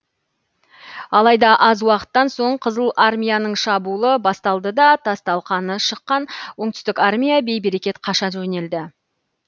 алайда аз уақыттан соң қызыл армияның шабуылы басталды да тас талқаны шыққан оңтүстік армия бей берекет қаша жөнелді